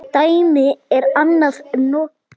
Dæmi: Er hann nokkuð?